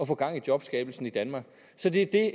få gang i jobskabelsen i danmark så det er det